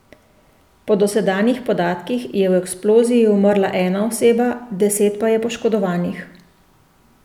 Po dosedanjih podatkih je v eksploziji umrla ena oseba, deset pa je poškodovanih.